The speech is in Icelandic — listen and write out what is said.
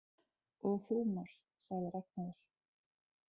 Og húmor, sagði Ragnheiður.